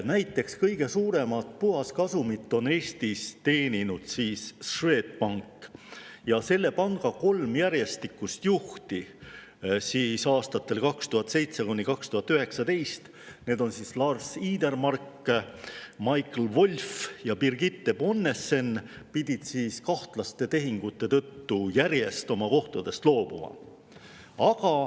Näiteks kõige suuremat puhaskasumit on Eestis teeninud Swedbank, aga selle panga kolm juhti aastatel 2007–2019, Lars Idermark, Michael Wolf ja Birgitte Bonnesen, pidid oma kahtlaste tehingute tõttu üksteise järel sellest kohast loobuma.